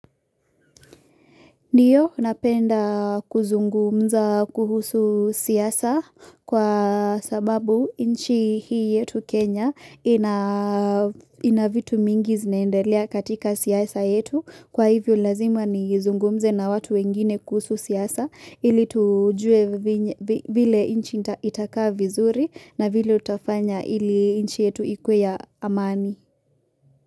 Ndiyo napenda kuzungumza kuhusu siasa kwa sababu inchi hii yetu Kenya ina vitu mingi zinaendalea katika siasa yetu kwa hivyo lazima nizungumze na watu wengine kuhusu siasa ili tujue vile nchi itakaa vizuri na vile utafanya ili nchi yetu ikuwe ya amani.